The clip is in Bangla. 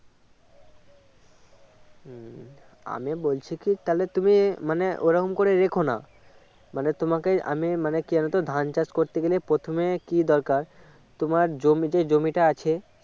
হম আমি বলছি কি তুমি মানে ওরকম করে রেখো না মানে তোমাকে আমি মানে কেন ধান চাষ করতে গেলে প্রথমে কী দরকার তোমার জমি~ জমিটা আছে